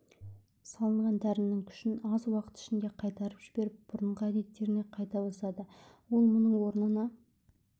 салынған дәрінің күшін аз уақыт ішінде қайтарып жіберіп бұрынғы әдеттеріне қайта басады ол мұның орнына